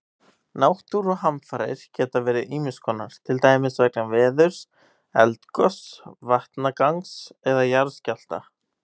Náttúruhamfarir geta verið ýmis konar, til dæmis vegna veðurs, eldgoss, vatnagangs eða jarðskjálfta.